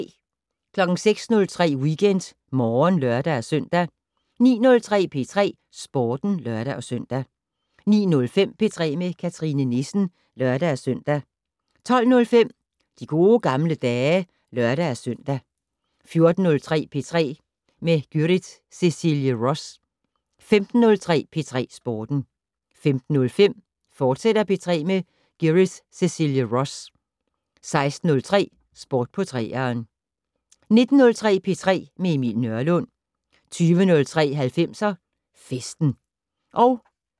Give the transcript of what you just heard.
06:03: WeekendMorgen (lør-søn) 09:03: P3 Sporten (lør-søn) 09:05: P3 med Cathrine Nissen (lør-søn) 12:05: De gode gamle dage (lør-søn) 14:03: P3 med Gyrith Cecilie Ross 15:03: P3 Sporten 15:05: P3 med Gyrith Cecilie Ross, fortsat 16:03: Sport på 3'eren 19:03: P3 med Emil Nørlund 20:03: 90'er Festen